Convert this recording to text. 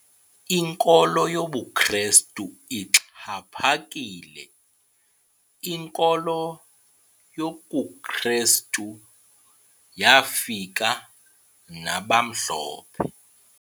Inkolo yobuKrestu ixhaphakile. inkolo yokuKrestu yafika nabamhlophe